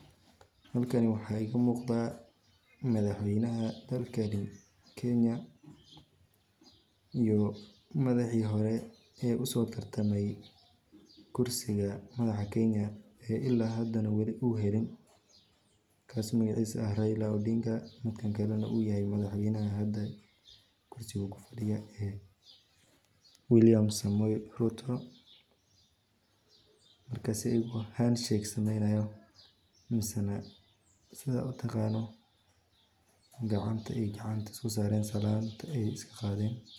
Halkani waxa iga muqda madhaxweyna dalkani Kenya iyo madhaxi hore ee uso tartamay kursiga madhaxa Kenya ee ila hada wilina u helin kas magacisa u yahay Raila Odinga midkan kala u yahay madhaxweynaha hada kursiga kufadiyo ee William Samwoi Ruto markas ayago hand shake sameynayo misina sidha utaqantit gacanta ey gacanta usosaren ey salanta ay iskaqadhen.